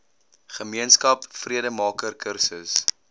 gemeenskap vredemaker kursus